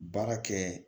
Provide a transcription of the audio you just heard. Baara kɛ